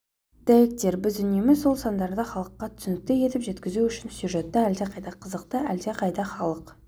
дәйектер біз үнемі сол сандарды халыққа түсінікті етіп жеткізу үшін сюжетті әлдеқайда қызықты әлдеқайда халық